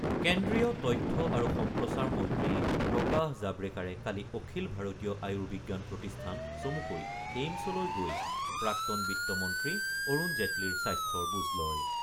কেন্দ্ৰীয় তথ্য আৰু সম্প্ৰচাৰ মন্ত্ৰী প্ৰকাশ জাবড়েকাৰে কালি অখিল ভাৰতীয় আয়ুৰ্বিজ্ঞান প্ৰতিষ্ঠান চমুকৈ এইমছলৈ গৈ প্ৰাক্তন বিত্ত মন্ত্ৰী অৰুণ জেটলিৰ স্বাস্থ্যৰ বুজ লয়।